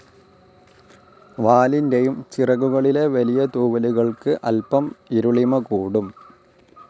വാലിൻ്റെയും ചിറകുകളിലെ വലിയ തൂവലുകൾക്കു അൽപ്പം ഇരുളിമ കൂടും.